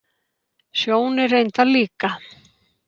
Sjóni reyndar líka.